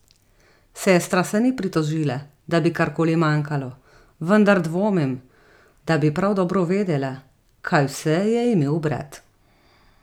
Sestra se ni pritožila, da bi karkoli manjkalo, vendar dvomim, da bi prav dobro vedela, kaj vse je imel brat.